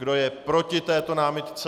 Kdo je proti této námitce?